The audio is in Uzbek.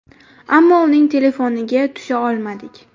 Ammo uning telefoniga tusha olmadik.